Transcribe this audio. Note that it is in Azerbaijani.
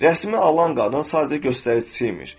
Rəssamı alan qadın sadəcə göstəricisi imiş.